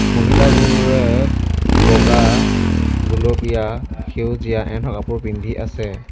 মহিলাবোৰে বগা গুলপীয়া সেউজীয়া এনেকুৱা কাপোৰ পিন্ধি আছে।